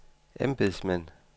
embedsmænd